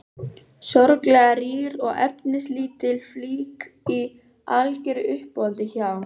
Sorglega rýr og efnislítil flík í algeru uppáhaldi hjá